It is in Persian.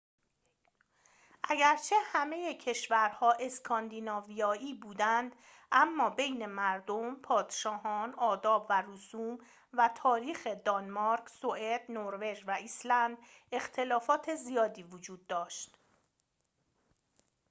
اگرچه همه کشورها اسکاندیناویایی بودند اما بین مردم پادشاهان آداب و رسوم و تاریخ دانمارک سوئد نروژ و ایسلند اختلافات زیادی وجود داشت